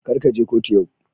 Kar ka je kotu yau.